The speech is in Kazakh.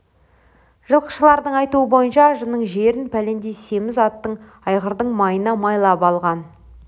жылқышылардың айтуы бойынша ажының жерін пәлендей семіз аттың айғырдың майына майлап алған